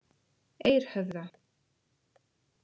Eirhöfða